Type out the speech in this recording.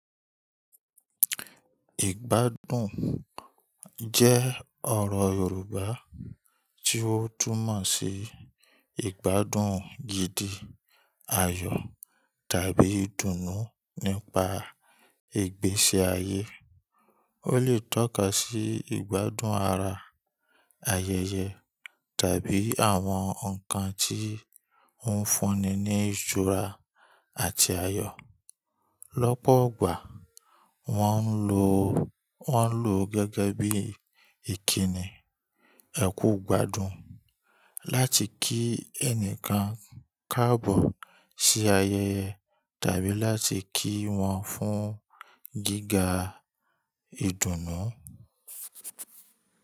Ìgbádùn jẹ́ ọ̀rọ̀ Yorùbá tí ó tún mọ̀ sí ìgbádùn gidi, ayọ̀ tàbí ìdùnnú nípa ìgbésí ayé. Ó lè tọ́ka sí ìgbádùn ara, ayẹyẹ tàbí àwọn nǹkan tí ń fúnni ní ìjọra àti ayọ̀. Lọ́pọ̀ ọgbà wọ́n ń lò ó gẹ́gẹ́ bí ìkíni "ẹ kú ìgbádùn" láti kí ẹnìkan káàbọ̀ sí ayẹyẹ tàbí láti kí wọ́n fún gíga ìdùnnú.